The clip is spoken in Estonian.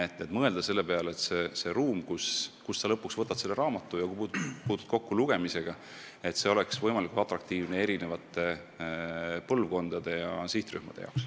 Tuleb mõelda selle peale, et see ruum, kust sa lõpuks võtad raamatu ja kus sa puutud kokku lugemisega, peab olema võimalikult atraktiivne eri põlvkondade ja sihtrühmade jaoks.